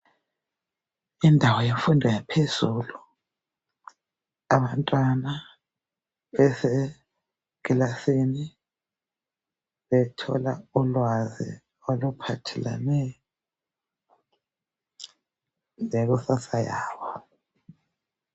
Indawo yemfundo yaphezulu abantwana besekilasini bethola ulwazi oluphathelane lekusasa yabo.